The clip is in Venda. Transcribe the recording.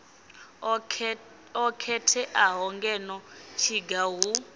o khetheaho ngeno tshiga hu